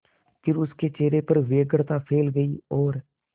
फिर उसके चेहरे पर व्यग्रता फैल गई और